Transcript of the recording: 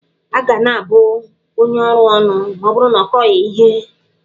A ga-abụ onye ọrụ ónù ma ọ bụrụ na ọ kọghị ihe?